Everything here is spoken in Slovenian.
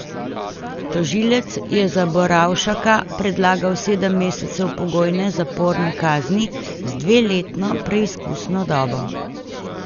Tožilec je za Borovšaka predlagal sedem mesecev pogojne zaporne kazni z dveletno preizkusno dobo.